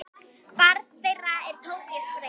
Barn þeirra er Tobías Freyr.